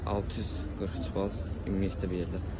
643 bal ümumilikdə bir yerdə.